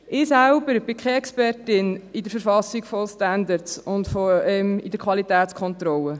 Ich selbst bin keine Expertin in der Verfassung von Standards in der Qualitätskontrolle.